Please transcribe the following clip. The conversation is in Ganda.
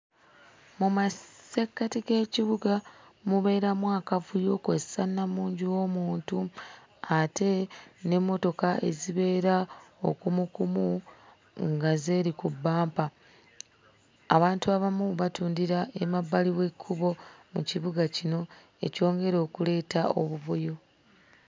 Mu massekkati g'ekibuga mubeeramu akavuyo kw'ossa nnamungi w'omuntu ate n'emmotoka ezibeera okumukumu nga zeeri ku bbampa. Abantu abamu batundira emabbali w'ekkubo mu kibuga kino, ekyongera okuleeta obuvuyo.